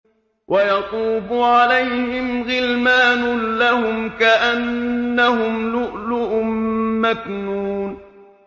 ۞ وَيَطُوفُ عَلَيْهِمْ غِلْمَانٌ لَّهُمْ كَأَنَّهُمْ لُؤْلُؤٌ مَّكْنُونٌ